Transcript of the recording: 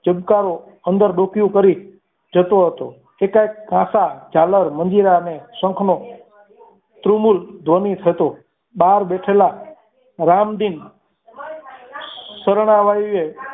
ચમકારો અંદર ડોકિયું કરી જતો હતો તે કંઈ ગાતા ઝાલર મંજીરા શંખનો ધ્રુવ મૂળ ધ્વનિત હતો બાર બેઠેલા રામજીન શરણાઈએ